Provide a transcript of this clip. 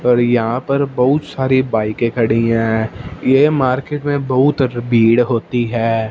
पर यहां पर बहुत सारी बाइके खड़ी हैं ये मार्केट में बहुत र भीड़ होती है।